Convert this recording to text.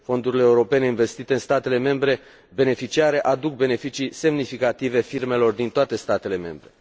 Fondurile europene investite în statele membre beneficiare aduc beneficii semnificative firmelor din toate statele membre.